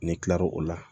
Ne kila lo o la